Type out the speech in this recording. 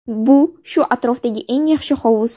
Bu shu atrofdagi eng yaxshi hovuz.